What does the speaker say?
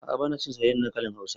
A'a ba na cin soyayyen dankalin hausa